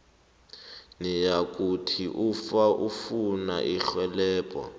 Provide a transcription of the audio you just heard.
nayikuthi ufuna irhelebho